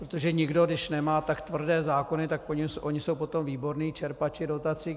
Protože nikdo, když nemá tak tvrdé zákony, tak oni jsou potom výborní čerpači dotací.